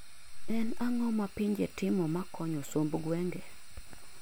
en ang'o mapinje timo makonyo somb gwenge?